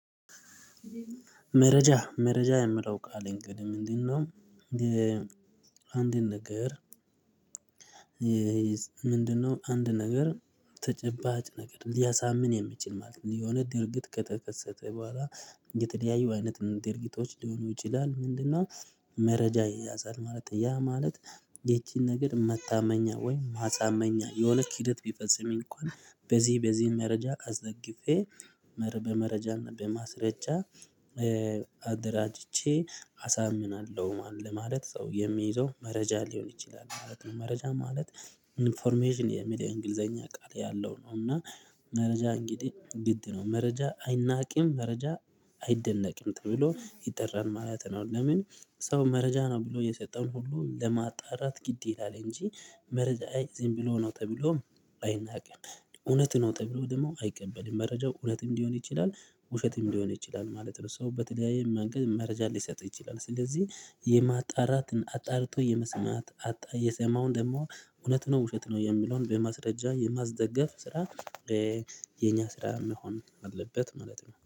መረጃ መረጃ የሚለው ቃል እንግዲህ ምንድነው? አንድን ነገር? ምንድነው አንድ ነገር ተጨባጭ ነገር ሊያሳምን የሚችል ማለት ነው። የሆነ ድርጊት ከተከሰተ በኋላ የተደያዩ አይነት ድርጊቶች ሊሆኑ ይችላል ምንድነው? መረጃ ይያዛል ማለት ያ ማለት ይቺን ነገር መታመኛ ወይ ማሳመኛ የሆነ ኪደት ቢፈጽም እንኳን በዚህ በዚህ መረጃ አስደግፌ በመረጃና በማስረጃ አደራጅቼ አሳምናለሁ ማለት ለማለት ሰው የሚይዘው መረጃ ሊሆን ይችላል ማለት ነው። መረጃ ማለት ኢንፎርሜሽን የሚለው እንግሊዘኛ ቃል ያለው ነው እና መረጃ ግድ ነው መረጃ አይናቂም መረጃ አይደነቂም ተብሎ ይጠራን ማለት ነው። ለምን ሰው መረጃ ነው ብሎ የሰጠውን ሁሉ ለማጣራት ግድ ይላል እንጂ መረጃ ዝም ብሎ ነው ተብሎም አይናቅም እውነት ነው ተብሎ ደግሞ አይቀበልም መረጃው እውነትም ሊሆን ይችላል ውሸትም ሊሆን ይችላል ማለት ነው። ሶ በተለያየ መንገድ መረጃ ሊሰጥ ይችላል ስለዚህ የማጣራትን አጣርቶ የመስማት የሰማውን ደግሞ እውነት ነው ውሸት ነው የሚለውን በማስረጃ የማስደገፍ ስራ የኛ ስራ መሆን አለበት ማለት ነው